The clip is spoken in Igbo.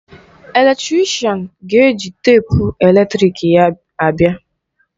Eletrịshan ga-eji teepu eletrịk ya abịa.